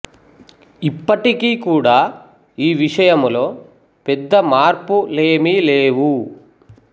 ఇప్పటికి కూడా ఈ విషయంలో పెద్ద మార్పు లేమి లేవు